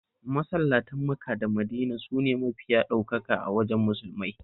Masallatan Maka da Madina sune mafiya ɗaukaka a wajen Musulmai